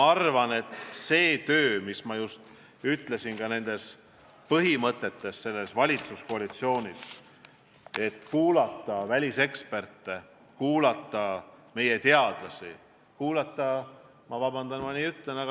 Ja meie põhimõte selles valitsuskoalitsioonis on ka kuulata väliseksperte, kuulata meie oma teadlasi, kuulata – vabandust, et ma nii ütlen!